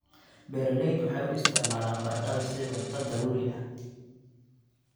Beeraleydu waxay u isticmaalaan baradhada sidii cunto daruuri ah.